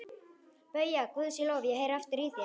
BAUJA: Guði sé lof, ég heyri aftur í þér!